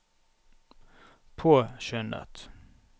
påskyndet